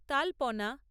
তালপনা